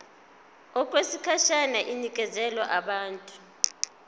okwesikhashana inikezwa abantu